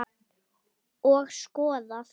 Og skoðað.